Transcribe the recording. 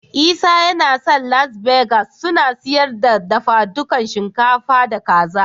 Isa ya san Las Begas suna siyar da dafadukan shinkafa da Kaza.